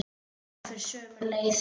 Tungan fer sömu leið.